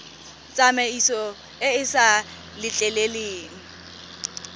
tsamaiso e e sa letleleleng